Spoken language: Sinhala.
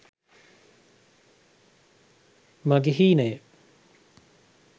mage heenaye